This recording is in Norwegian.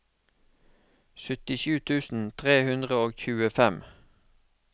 syttisju tusen tre hundre og tjuefem